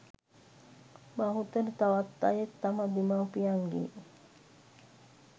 බහුතර තවත් අයෙක් තම දෙමවුපියන්ගේ